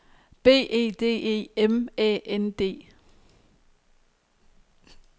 B E D E M Æ N D